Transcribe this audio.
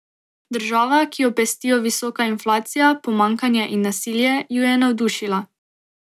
Država, ki jo pestijo visoka inflacija, pomanjkanje in nasilje, ju je navdušila.